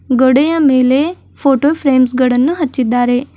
ಗೋಡೆಯ ಮೇಲೆ photo frames ಗಳನ್ನು ಹಚ್ಚಿದ್ದಾರೆ.